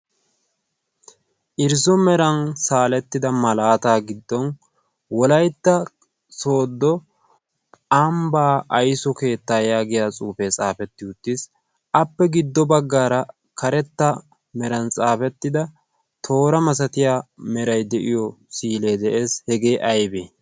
irzzo meran saalettida malaataa giddon wolaytta soodo amibaa aysu keettaa yaagiya cuufee xaafetti uttiis. appe giddo baggaara karetta meran xaafettida toora masatiya meray de'iyo siilee de'ees. hegee aybee?